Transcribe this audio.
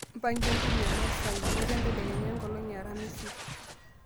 mpanga entumo o matt saa imiet entedekenya enkolong e aramisi